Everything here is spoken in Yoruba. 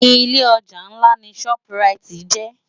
Ilé òjá nlá ni ṣòp ráit jè